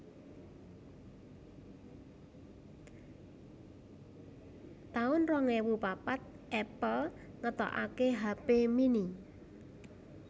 taun rong ewu papat Apple ngetokaké hape mini